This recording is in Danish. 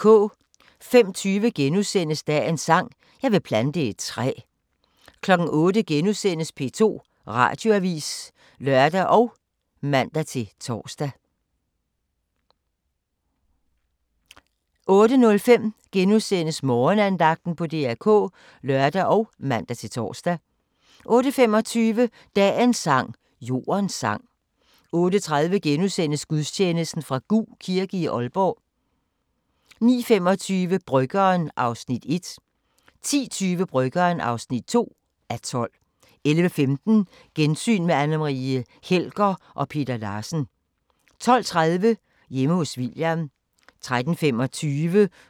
05:20: Dagens sang: Jeg vil plante et træ * 08:00: P2 Radioavis *(lør og man-tor) 08:05: Morgenandagten på DR K *(lør og man-tor) 08:25: Dagens sang: Jordens sang 08:30: Gudstjeneste fra Gug kirke, Aalborg * 09:25: Bryggeren (1:12) 10:20: Bryggeren (2:12) 11:15: Gensyn med Anne Marie Helger og Peter Larsen 12:30: Hjemme hos William 13:35: Gæt og grimasser